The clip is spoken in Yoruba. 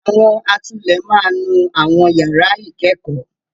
Àwọn atulẹ̀ máa nú àwọn yàrá ìkẹ́kọ̀ọ́.